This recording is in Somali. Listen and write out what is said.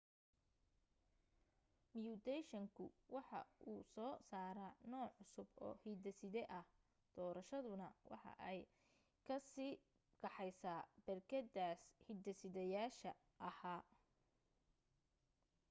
miyuutayshanku waxa uu soo saara nooc cusub oo hiddeside ah doorashaduna waxay ka sii kaxaysaa berkedaas hiddesideyaasha aha